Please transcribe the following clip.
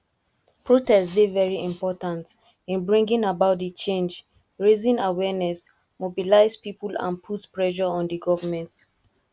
protest dey very important in bringing about di change raising awareness mobilize people and put pressure on di government